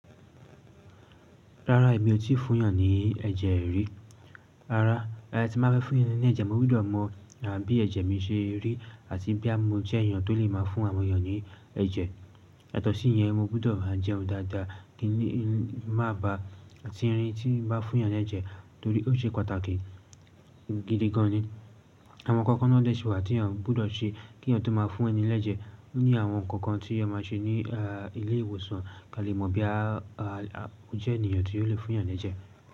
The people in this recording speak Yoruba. Rárá, èmi ò tíì fún èèyàn ní ẹ̀jẹ̀ rí. Rárá, tí mo bá fẹ́ fún ènìyàn ní ẹ̀jẹ̀, mo gbọ́dọ̀ mọ̀ bí ẹ̀jẹ̀ mi ṣe rí àti bí mo jẹ́ èèyàn tó lè máa fún àwọn èèyàn ní ẹ̀jẹ̀. Yàtò sí yẹn, mo gbọ́dọ̀ máa jẹun dáadáa kí má ba tírín tí n bá fún èèyàn ní ẹ̀jẹ̀ torí ó ṣe pàtàkì gidi gan ni. Àwọn ǹkan kan ló dẹ̀ sí i wa tí èèyàn gbọ́dọ̀ ṣe kí èèyàn tó máa fún ẹni l'ẹ́jẹ̀ ní àwọn ǹkan kan tí ẹ máa ṣe ní ilé ìwòsàn kí a lè mọ̀ bí a jẹ́ èèyàn tí yóò lè fún èèyàn ní ẹ̀jẹ̀.